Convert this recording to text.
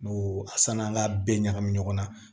N'o sann'an ga bɛɛ ɲagami ɲɔgɔn na